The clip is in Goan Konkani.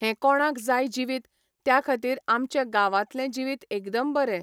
हें कोणाक जाय जिवीत त्या खातीर आमचे गांवांतलें जिवीत एकदम बरें.